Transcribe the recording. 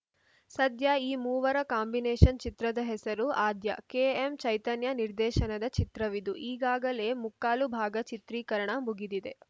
ಸದ್ಯ ಈ ಮೂವರ ಕಾಂಬಿನೇಷನ್‌ ಚಿತ್ರದ ಹೆಸರು ಆದ್ಯ ಕೆ ಎಂ ಚೈತನ್ಯ ನಿರ್ದೇಶನದ ಚಿತ್ರವಿದು ಈಗಾಗಲೇ ಮುಕ್ಕಾಲು ಭಾಗ ಚಿತ್ರೀಕರಣ ಮುಗಿದಿದೆ